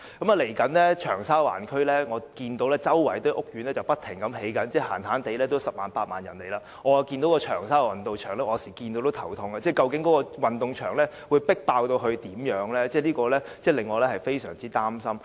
未來，長沙灣區——我看到周圍正不停興建屋苑——最少將有十萬八萬人遷入，所以，有時候我看到長沙灣運動場就會感到頭痛，擔心該運動場將會如何擠迫，令我非常擔心。